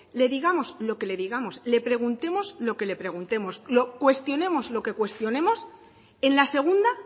le digamos lo que le digamos le preguntemos lo que le preguntemos cuestionemos lo que cuestionemos en la segunda